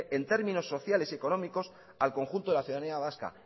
en términos sociales y económicos al conjunto de la ciudadanía vasca